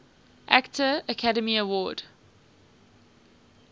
actor academy award